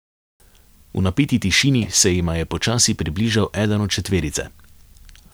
V napeti tišini se jima je počasi približal eden od četverice.